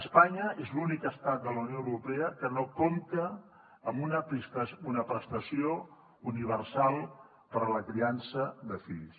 espanya és l’únic estat de la unió europea que no compta amb una prestació universal per a la criança de fills